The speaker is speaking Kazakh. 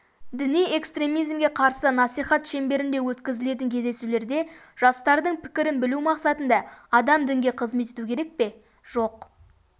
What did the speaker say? діни экстремизмге қарсы насихат шеңберінде өткізілетін кездесулерде жастардың пікірін білу мақсатында адам дінге қызмет ету керек пе жоқ